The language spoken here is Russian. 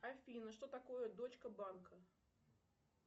афина что такое дочка банка